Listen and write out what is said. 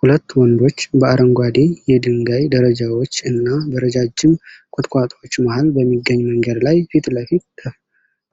ሁለት ወንዶች በአረንጓዴ የድንጋይ ደረጃዎች እና በረጃጅም ቁጥቋጦዎች መሃል በሚገኝ መንገድ ላይ ፊት ለፊት